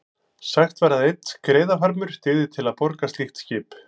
Sagt var að einn skreiðarfarmur dygði til að borga slíkt skip.